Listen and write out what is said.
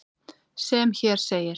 sem hér segir